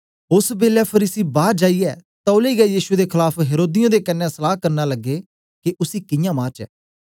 ओसबेलै फरीसी बार जाईयै तौलै गै यीशु दे खलाफ हेरोदियें दे कन्ने सलहा करन लगे के उसी कियां मारचै